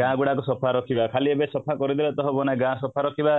ଗାଁ ଗୁଡାକ ସଫା ରଖିବା ଖାଲି ଏବେ ସଫା କରିଦେଲେ ତ ହବନି ଗାଁ ସଫା ରଖିବା